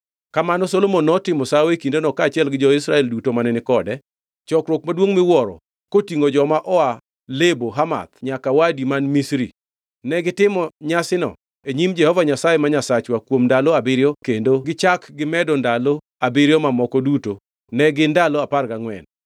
Kamano Solomon notimo sawo e kindeno kaachiel gi jo-Israel duto mane ni kode chokruok maduongʼ miwuoro kotingʼo joma oa Lebo Hamath nyaka Wadi man Misri. Negitimo nyasino e nyim Jehova Nyasaye ma Nyasachwa kuom ndalo abiriyo kendo gichak gimedo ndalo abiriyo mamoko duto ne gin ndalo apar gangʼwen.